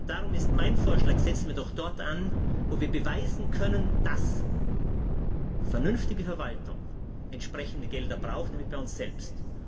Darum mein Vorschlag Setzen wir doch dort an, wo wir beweisen können, dass vernünftige Verwaltung entsprechende Gelder braucht, nämlich bei uns selbst.